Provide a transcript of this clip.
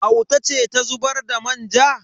Auta ce ta zubar da manja.